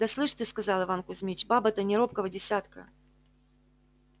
да слышь ты сказал иван кузмич баба-то не робкого десятка